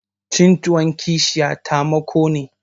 Cin tuwon kishiya tamako